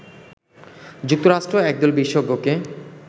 যুক্তরাষ্ট্র একদল বিশেষজ্ঞকে